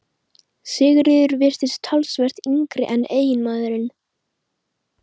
Sigríður virtist talsvert yngri en eiginmaðurinn.